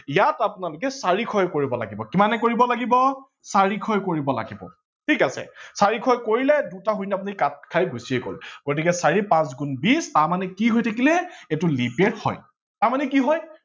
ইয়াক আপোনালোকে চাৰিশয়ে কৰিব লাগিব, কিমানে কৰিব লাগিব চাৰিশয়ে কৰিব লাগিব ঠিক আছে চাৰিশয়ে কৰিলে দুটা শূণ্য আপোনি কাত খাই গুচিয়ে গল গতিকে চাৰি পাচ গুন বিশ তাৰমানে কি হৈ থাকিলে এইটো leap year হয়, তাৰমানে কি হয়